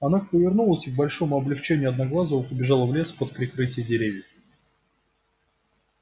она повернулась и к большому облегчению одноглазого побежала в лес под прикрытие деревьев